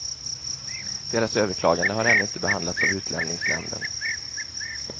Deras överklagande har ännu inte behandlats av utlänningsnämnden.